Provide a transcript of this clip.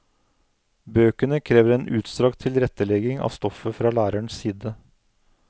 Bøkene krever en utstrakt tilrettelegging av stoffet fra lærerens side.